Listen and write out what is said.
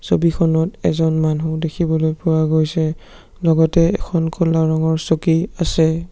ছবিখনত এজন মানুহ দেখিবলৈ পোৱা গৈছে লগতে এখন ক'লা ৰঙৰ চকী আছে।